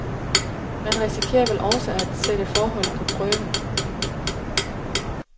Man risikerer vel også at sætte forholdet på prøve.